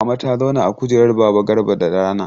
Mama ta zauna a kujerar baba Garba da rana.